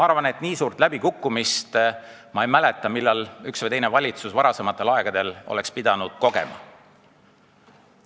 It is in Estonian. Ma ei mäleta, et üks või teine valitsus on pidanud varasematel aegadel nii suurt läbikukkumist kogema.